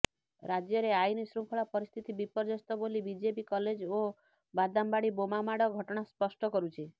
ରାଜ୍ୟରେ ଆଇନ୍ ଶୃଙ୍ଖଳା ପରିସ୍ଥିତି ବିପର୍ଯ୍ୟସ୍ତ ବୋଲି ବିଜେବି କଲେଜ ଓ ବାଦାମବାଡି ବୋମାମାଡ଼ ଘଟଣା ସ୍ପଷ୍ଟ କରୁଛି